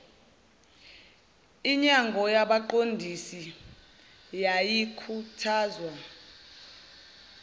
inyango yabaqondisi yayikhuthazwa